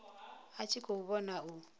a tshi khou vhona u